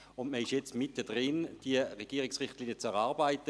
Man ist jetzt gerade dabei, diese Regierungsrichtlinien zu erarbeiten.